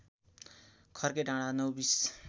खर्के डाँडा नौबिस